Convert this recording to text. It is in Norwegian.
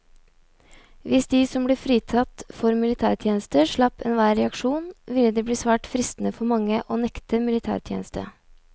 Hvis de som ble fritatt for militærtjeneste slapp enhver reaksjon, ville det bli svært fristende for mange å nekte militætjeneste.